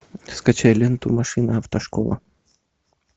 скачай ленту машина автошкола